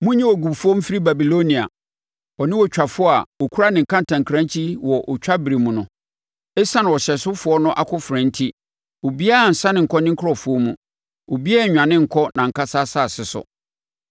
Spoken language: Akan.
Monyi ogufoɔ mfiri Babilonia, ɔne ɔtwafoɔ a ɔkura ne kantankrankyi wɔ ɔtwa berɛ mu no. Esiane ɔhyɛsofoɔ no akofena enti obiara nsane nkɔ ne nkurɔfoɔ mu, obiara nnwane nkɔ nʼankasa asase so.